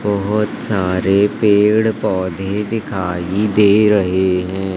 बहोत सारे पेड़ पौधे दिखाई दे रहे हैं।